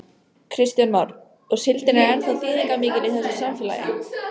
Kristján Már: Og síldin er ennþá þýðingarmikil í þessu samfélagi?